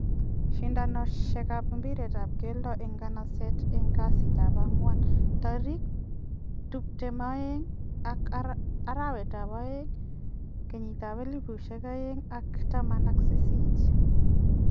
Sindonisiet ab ibiret ab keldo en nganaset en kasiit ab agwan 22.02.2018.